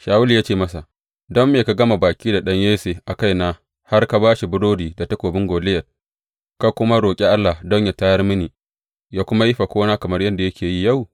Shawulu ya ce masa, Don me ka gama baki da ɗan Yesse a kaina har ka ba shi burodi da takobin Goliyat, ka kuma roƙi Allah don yă tayar mini, yă kuma yi fakona kamar yadda yake yi yau?